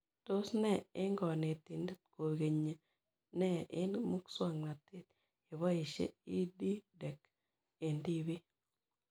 Tos nee eng' kanetindet koikenyi nee eng' muswognatet ye poishe EdTech eng' tipik